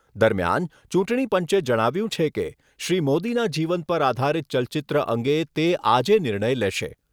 દરમિયાન ચૂંટણીપંચે જણાવ્યુંં છે કે, શ્રી મોદીના જીવનપર આધારિત ચલચિત્ર અંગે તે આજે નિર્ણય લેશે.